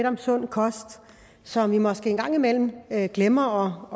om sund kost som vi måske en gang imellem glemmer